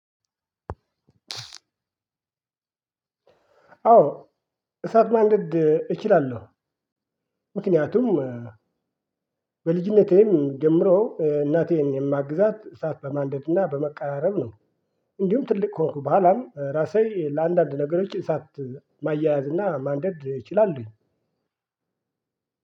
አዎ እሳት ማንደድ እችላለሁ ምክንያቱም በልጅነቴም ጀምሮ እናቴን የማግዛት እሳት በማንደድና በማቀራረብ ነው እንዲሁም ትልቅ ከሆንኩ በኋላም ራሴ ለአንዳንድ ነገሮች እሳት ማያያዝ እና ማንደድ እችላለሁኝ።